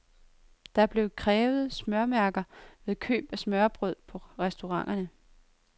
Der blev krævet smørmærker ved køb af smørrebrød på restauranterne.